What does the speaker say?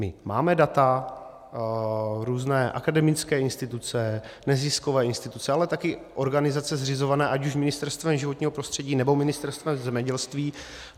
My máme data, různé akademické instituce, neziskové instituce, ale taky organizace zřizované ať už Ministerstvem životního prostředí, nebo Ministerstvem zemědělství.